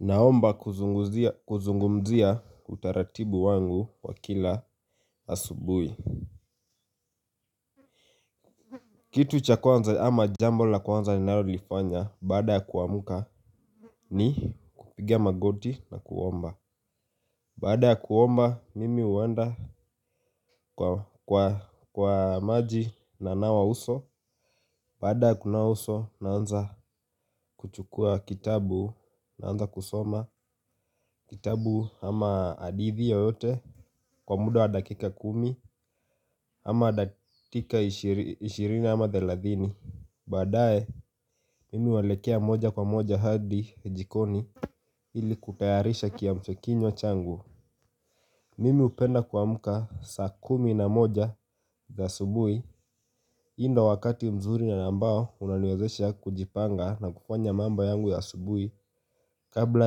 Naomba kuzungumzia utaratibu wangu kwa kila asubuhi. Kitu cha kwanza ama jambo la kwanza ninalolifanya baada ya kuamka ni kupiga magoti na kuomba. Baada ya kuomba mimi huenda kwa maji nanawa uso. Baada ya kunawa uso naanza kuchukua kitabu naanza kusoma kitabu ama hadithi yoyote. Kwa muda wa dakika kumi ama dakika ishirini ama thelathini. Baadaye mimi huelekea moja kwa moja hadi jikoni ili kutayarisha kiamshakinywa changu. Mimi hupenda kuamka saa kumi na moja za asubuhi hii ndo wakati mzuri na ambao unaniwezesha kujipanga na kufanya mambo yangu ya asubuhi. Kabla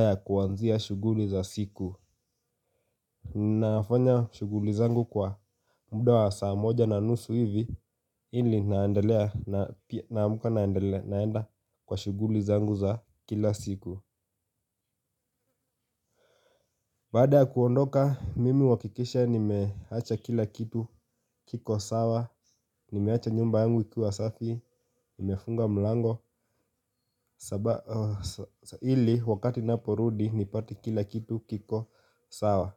ya kuanzia shughuli za siku nafanya shughuli zangu kwa muda wa saa moja na nusu hivi. Ili naendelea naamka naenda kwa shughuli zangu za kila siku. Baada ya kuondoka mimi huhakikisha nimeacha kila kitu kiko sawa. Nimeacha nyumba yangu ikiwa safi. Nimefunga mlango. Ili wakati naporudi nipate kila kitu kiko sawa.